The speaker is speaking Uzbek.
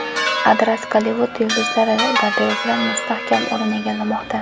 Adras Gollivud yulduzlari garderobidan mustahkam o‘rin egallamoqda.